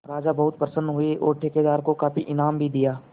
राजा बहुत प्रसन्न हुए और ठेकेदार को काफी इनाम भी दिया